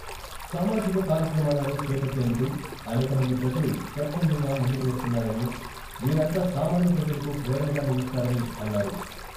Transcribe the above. సామాజిక కార్యక్రమాలను చేపట్టేందుకు అనేక మంది ప్రజలు స్వచ్చందంగా ముందుకు వస్తున్నారని వీరంతా సామాన్య ప్రజలకు ప్రేరణగా నిలుస్తారని అన్నారు.